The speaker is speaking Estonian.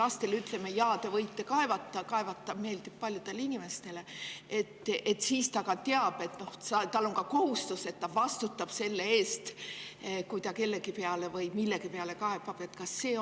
Ütleme lastele, et jaa, te võite kaevata – seda meeldib teha paljudele inimestele –, aga kas ta teab ka seda, et ta vastutab selle eest, kui ta kellegi või millegi peale kaebab kohustused?